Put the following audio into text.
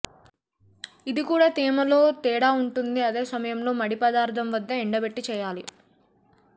ఇది కూడా తేమ లో తేడా ఉంటుంది అదే సమయంలో ముడి పదార్థం వద్ద ఎండబెట్టి చేయాలి